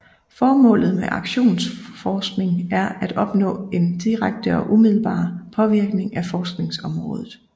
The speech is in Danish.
Formålet med aktionsforskning er at opnå en direkte og umiddelbar påvirkning af forskningsområdet